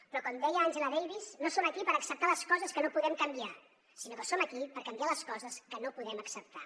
però com deia angela davis no som aquí per acceptar les coses que no podem canviar sinó que som aquí per canviar les coses que no podem acceptar